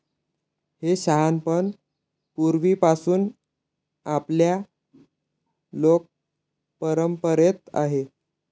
हे शहाणपण पूर्वीपासून आपल्या लोकपरंपरेत आहे.